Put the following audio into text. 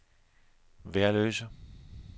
Værløse